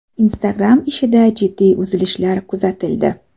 Instagram ishida jiddiy uzilishlar kuzatildi.